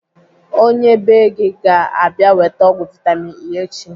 Onye bee gị ga - abịa weta ọgwụ vitamin E echi.